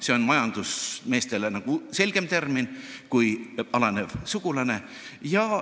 See on majandusmeestele selgem termin kui "alaneja sugulane".